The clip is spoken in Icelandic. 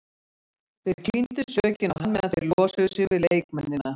Þeir klíndu sökinni á hann meðan þeir losuðu sig við leikmennina.